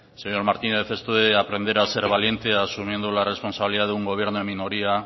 señor martínez esto de aprender a ser valiente asumiendo la responsabilidad de un gobierno de minoría